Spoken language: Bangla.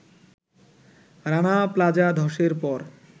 রানা প্লাজা ধসের পর